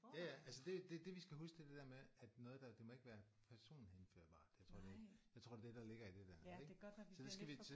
Ja ja altså det det det vi skal huske det er det der med at noget der det må ikke være personhenførbart. Jeg tror det er jeg tror det er det der ligger i det der. Er det ikke?